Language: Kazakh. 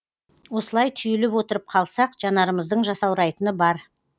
осылай түйіліп отырып қалсақ жанарымыздың жасаурайтыны бар